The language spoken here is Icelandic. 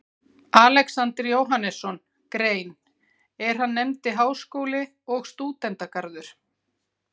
Alexander Jóhannesson grein, er hann nefndi Háskóli og Stúdentagarður.